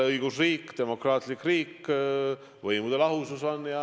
– õigusriik, demokraatlik riik, meil on võimude lahusus.